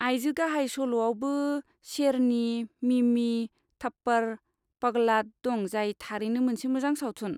आइजो गाहाय सल'आवबो शेरनी, मिमी, थप्पड़, पगलाट दं जाय थारैनो मोनसे मोजां सावथुन।